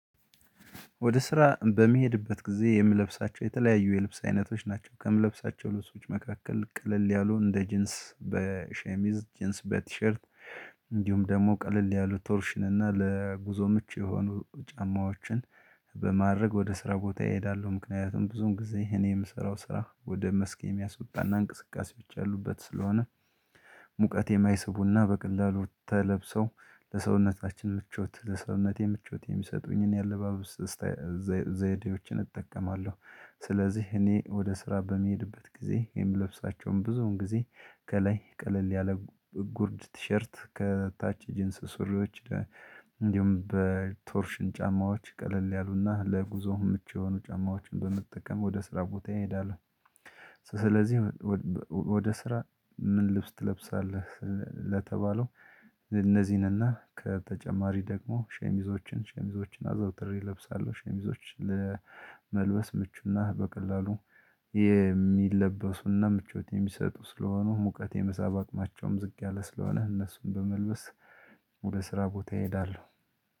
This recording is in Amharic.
ወደ ስራ በሚሄድበት ጊዜ የምለብሳቸው የተለያዩ የልብስ አይነቶች ናቸው ከምለብሳቸው ልብሶች መካከል ቀለል ያሉ እንደ ጂንስ በሸሚዝ ጂንስ በቲሸርት እንዲሁም ደግሞ ቀለል ያሉ ቶርሽን እና ለጉዞ ምቹ የሆኑ ጫማዎችን በማድረግ ወደ ስራ ቦታ ይሄዳሉ ምክንያቱም ብዙም ጊዜ እኔ የምሰራው ስራ ወደ መስክ የሚያስወጣና እንቅስቃሴ ብቻ ያሉበት ስለሆነ ሙቀቴም አይስቡና በቀላሉ ተለብሰው ለሰውነታችን ምቾት ለሰውነቴ ምቾት የሚሰጡኝን የአለባበስ ዘይዴዎችን እጠቀማለሁ። ስለዚህ እኔ ወደ ስራ በመሄድበት ጊዜ ይሄን ልብሳቸውን ብዙውን ጊዜ ከላይ ቀለል ያለ ጉርድ ቲሸርት ከታች ጂንስ ሱሪዎች እንዲሁም በቶርሽን ጫማዎች ቀለል ያሉና ለጉዞው ምቹ የሆኑ ጫማዎችን በመጠቀም ወደ ስራ ቦታ ይሄዳሉ። ስለዚህ ወደ ስራ ምን ልብስ ትለብሳለህ? ለተባለው እነዚህንና ከተጨማሪ ደግሞ ሸሚዞችን ሸሚዞችን አዘውትር ይለብሳሉ። ሸሚዞች ለመልበስ ምቹና በቀላሉ የሚለበሱና ምቾት የሚሰጡ ስለሆኑ ሙቀት የመሳብ አቅማቸውም ዝቅ ያለ ስለሆነ እነሱን በመልበስ ሁለት ስራ ቦታ ይሄዳሉ